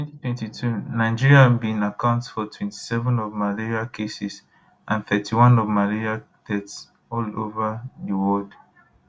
for 2022 nigeria bin account for 27 of malaria cases and 31 of malaria deaths all ova di world